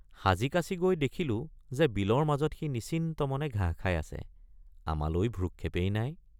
সাজিকাছি গৈ দেখিলোঁযে বিলৰ মাজত সি নিশ্চিন্ত মনে ঘাঁহ খাই আছে—আমালৈ ভ্ৰূক্ষেপেই নাই।